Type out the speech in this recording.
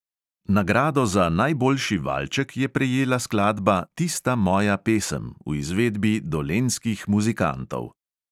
Nagrado za najboljši valček je prejela skladba "tista moja pesem" v izvedbi dolenjskih muzikantov.